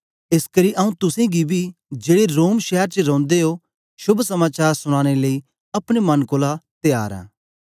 एसकरी आंऊँ तुसेंगी बी जेड़े रोम शैर च रौंदे ओ शोभ समाचार सुनाने लेई अपने मन कोलां त्यार आं